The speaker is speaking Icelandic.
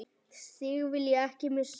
Þig vil ég ekki missa.